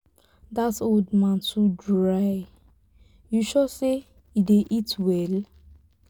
dat old man too dry you sure say he dey eat well?